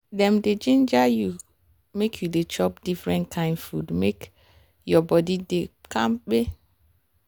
dem dey ginger you make you dey chop different kain food make your body dey kampe.